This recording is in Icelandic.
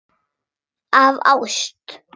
Af ást.